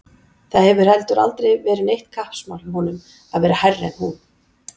Það hefur heldur aldrei verið neitt kappsmál hjá honum að vera hærri en hún.